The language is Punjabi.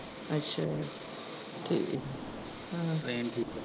ਅੱਛਾ, ਠੀਕ ਆ ਹਾਂ ਹਾਂ train ਚ।